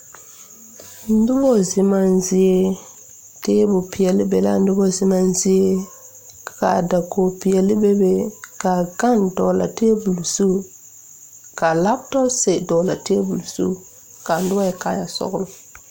Nobɔ zemaa zie tabol peɛle be laa nobɔ zemaa zie ka dokoge peɛle be be kaa gane dɔɔlaa tabol zu ka laptɔpse dɔglaa tabol zu kaa nobɔ yɛre kaayɛ sɔglɔ.